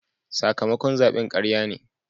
Sakamakon zaben karya ne.